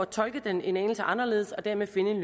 tolke den en anelse anderledes og dermed finde en